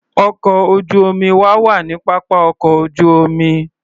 Ọkọ̀ ojú-omi wa wà ní pápá ọkọ̀ ojú-omi.